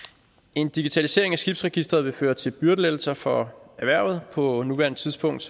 en digitalisering af skibsregistret vil føre til byrdelettelser for erhvervet på nuværende tidspunkt